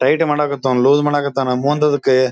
tight ಮಾಡಾಕ ಹತನ loose ಮಾಡಾಕ ಹತನ ಮುಂದ್ ಅದಕ್ಕ--